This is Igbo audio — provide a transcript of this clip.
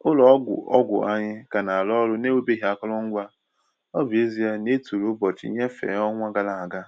Ụlọ ọgwụ ọgwụ anyị ka na-arụ ọrụ n’enweghị akụrụngwa, ọ bụ ezie na e tụrụ ụbọchị nnyefe ọnwa gara aga.